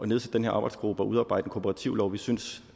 nedsætte den her arbejdsgruppe og udarbejde en kooperativlov vi synes